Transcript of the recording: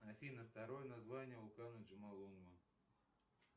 афина второе название вулкана джомолунгма